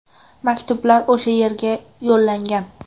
Maktublar o‘sha yerga yo‘llangan.